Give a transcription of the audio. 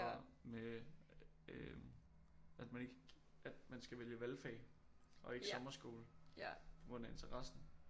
Og med øh at man ikke at man skal vælge valgfag og ikke sommerskole på grund af interessen